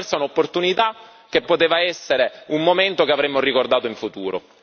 si è persa un'opportunità che poteva essere un momento che avremmo ricordato in futuro.